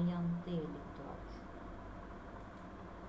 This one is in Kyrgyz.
аянтты ээлеп турат